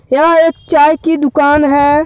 यह एक चाय की दुकान है।